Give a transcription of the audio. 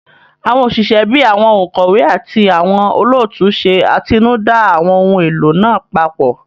Àwọn òṣìṣẹ́ bíi àwọn òǹkọ̀wé àti àwọn olóòtú ṣe atinúdá àwọn ohun èlò náà papọ̀